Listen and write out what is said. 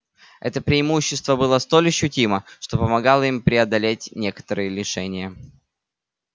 это преимущество было столь ощутимо что помогало им преодолеть некоторые лишения